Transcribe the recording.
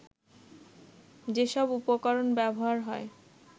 যেসব উপকরণ ব্যবহার হয়